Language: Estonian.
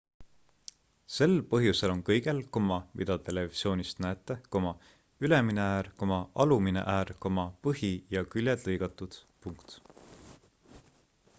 sel põhjusel on kõigel mida televisioonist näete ülemine äär alumine äär põhi ja küljed lõigatud